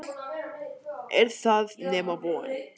Er það nema von?